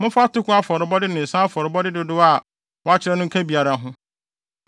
Momfa atoko afɔrebɔde ne nsa afɔrebɔde dodow a wɔakyerɛ no nka biara ho.